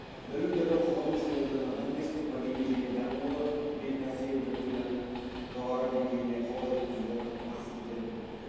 білім беру қоғам мүшелерінің адамгершілік мәдени және дене дамуы мен кәсіби біліктілігінің жоғары деңгейіне қол жеткізуді мақсат ететін